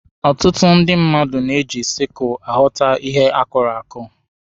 Ọtụtụ ndị mmadụ na-eji sikụlụ aghọta ihe akụrụ akụ.